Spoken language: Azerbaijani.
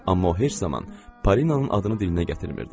Amma o heç zaman Polinanın adını dilinə gətirmirdi.